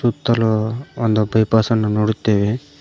ಸುತ್ತಲೂ ಒಂದು ಪೇಪರ್ಸ್ ಅನ್ನು ನೋಡುತ್ತೇವೆ.